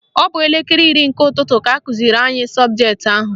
Ọ bụ n'elekere iri nke ụtụtụ ka akụziri anyị sọbụjetị ahụ.